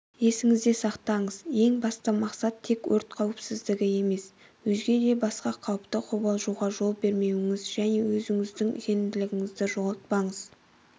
есіңізде сақтаңыз ең басты мақсат тек өрт қауіпсіздігі емес өзге де басқа қауіпте қобалжуға жол бермеңіз және де өзіңіздің сенімділігіңізді жоғалтпаңыз